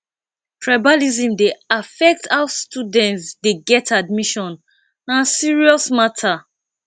tribalism dey affect how students dey get admission na serious matter